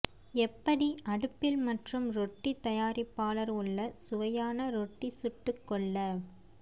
எப்படி அடுப்பில் மற்றும் ரொட்டி தயாரிப்பாளர் உள்ள சுவையான ரொட்டி சுட்டுக்கொள்ள